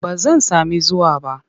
Ba zan sami zuwa ba.